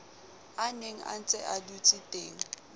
a nenga ntsea dutseteng a